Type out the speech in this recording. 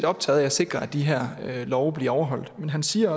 optaget af at sikre at de her love bliver overholdt men han siger